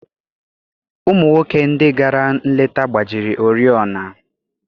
Ụmụ nwoke ndị gara nleta gbajiri oriọna.